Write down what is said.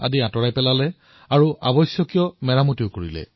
যত মেৰমতি আৰু নিৰ্মাণৰ আৱশ্যকতা আছিল সেয়া সম্পূৰ্ণ কৰিলে